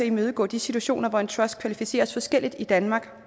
at imødegå de situationer hvor en trust kvalificeres forskelligt i danmark